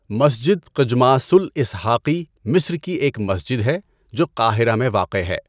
مسجد قجماس الاِسحاقی مصر کی ایک مسجد ہے جو قاہرہ میں واقع ہے۔